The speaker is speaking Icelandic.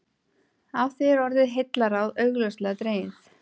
Af því er orðið heillaráð augljóslega dregið.